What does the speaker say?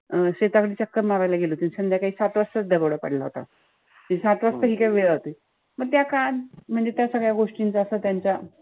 अं शेतामंधी चक्कर मारायला गेले होते. संध्याकाळी सात वाजताच दरोडा पडला होता. ते सात वाजता पण त्या काळात म्हणजे त्या सगळ्या गोष्टींच्या असं त्यांच्या,